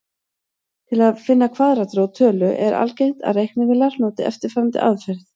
Til að finna kvaðratrót tölu er algengt að reiknivélar noti eftirfarandi aðferð.